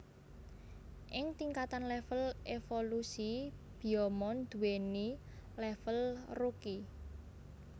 Ing tingkatan level evolusi Biyomon duweni level Rookie